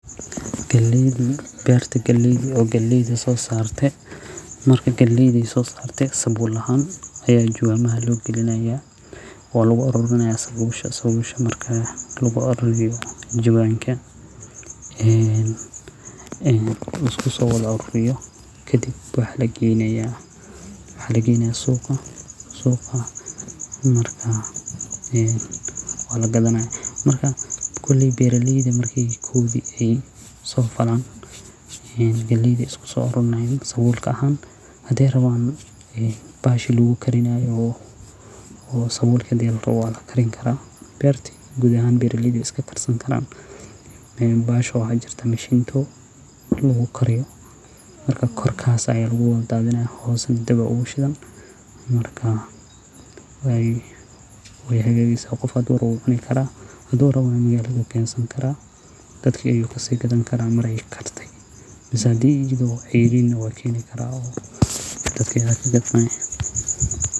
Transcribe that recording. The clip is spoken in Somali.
waa in uu yahay mid u qalma dhanka dhaqaalaha, taas oo lagu caddeeyo in uusan awoodin in uu iskii wax u barto iyada oo la tixraacayo dakhliga qoyska. Waxaa kaloo muhiim ah in ardaygu muujiyo rabitaan waxbarasho oo dhab ah iyo inuu leeyahay qorshe cad oo uu doonayo inuu ku gaaro aqoon sare. Intaa waxaa dheer, ardayga waa in uu yahay qof aan horay u helin deeq ama amaah kale oo uu wali bixinayo. Waxaa laga yaabaa in shuruudo kale lagu daro sida in ardayga uu buuxiyo foomamka codsiga si sax ah iyo in uu bixiyo dhammaan dokumentiyada la rabo sida shahaadooyin, warqado caddeynaya xaaladdiisa dhaqaale iyo dadka ayu kagadmaya.